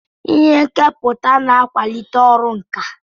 Ihe nkepụta na-akwalite ọrụ nka